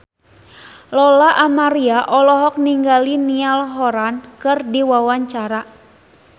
Lola Amaria olohok ningali Niall Horran keur diwawancara